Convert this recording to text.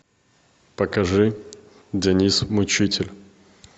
покажи деннис мучитель